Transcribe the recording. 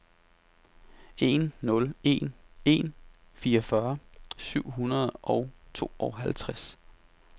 en nul en en fireogfyrre syv hundrede og tooghalvtreds